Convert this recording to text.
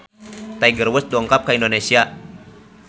Tiger Wood dongkap ka Indonesia